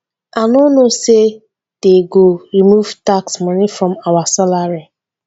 i no know say dey go remove tax money from our salary